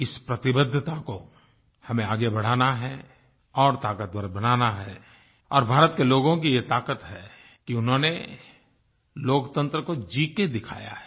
इस प्रतिबद्धता को हमें आगे बढ़ाना है और ताकतवर बनाना है और भारत के लोगों की ये ताकत है कि उन्होंने लोकतंत्र को जी के दिखाया है